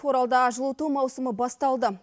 оралда жылыту маусымы басталды